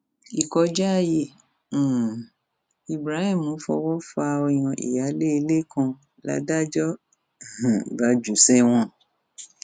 ìkọjá ààyè um ibrahim fọwọ fa ọyàn ìyáálé ilé kan ládájọ um bá jù ú sẹwọn